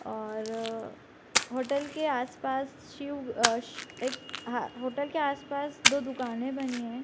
और अअ होटल के आस-पास सिउ अ सस एक हअ होटल के आस-पास दो दुकाने बनी हैं।